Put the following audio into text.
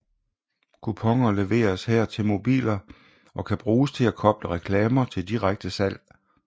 Kuponer leveres her til mobiler og kan bruges til at koble reklamer til direkte salg